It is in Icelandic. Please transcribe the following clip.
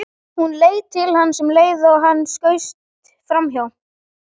Hún leit til hans um leið og hann skaust framhjá.